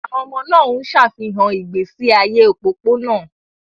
Àwọn ọmọ náà ń ṣàfihàn ìgbésí ayé òpópónà.